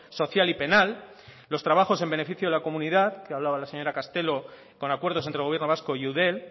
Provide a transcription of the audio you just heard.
social y penal los trabajos en beneficio de la comunidad que hablaba la señora castelo con acuerdos entre el gobierno vasco y eudel